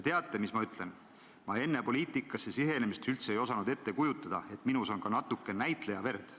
Teate, mis ma ütlen: ma enne poliitikasse tulemist ei osanud üldse ette kujutada, et minus on ka natukene näitlejaverd.